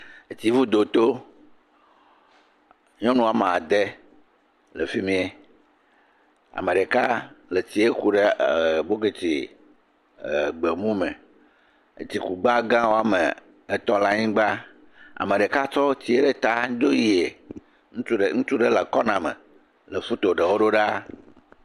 Tsivudo to. Nyɔnu ame ade le fi miɛ. Ame ɖeka hã le tsiɛ ku ɖe ɛɛ bokɛti ɛɛ gbemu me. Etsikugba woame etɔ̃ le anyigba. Ame ɖeka tsɔ tsi ɖe ta dzo yiɛ. Ŋutsu ɖe, ŋutsu ɖe lee kɔname.